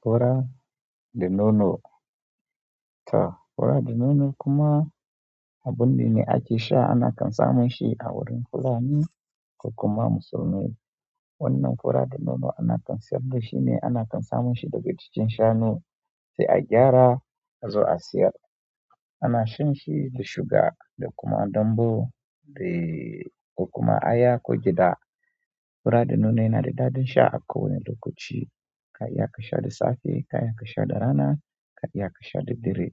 Fura de nono. To fura da nono kuma abune ake sha ana kan samun shi a wurin fulani ko kuma musulmai. Wannan fura da nono ana kan siyar da shi ne, ana kan samun shi daga jikin shanu. Sai a gyara, azo a siyar. Ana shan shi da sugar, da kuma danbu, dai ko kuma aya, ko gyaɗa. Fura da nono yana da daɗin sha a kowani lokaci. Ka iya kasha da safe, ka iya kasha da rana, ka iya kashe daddare.